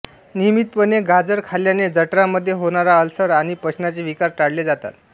नियमितपणे गाजर खाल्ल्याने जठरांमध्ये होणारा अल्सर आणि पचनाचे विकार टाळले जातात